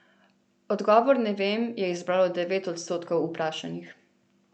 Odgovor ne vem je izbralo devet odstotkov vprašanih.